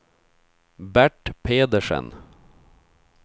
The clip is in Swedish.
Bert Pedersen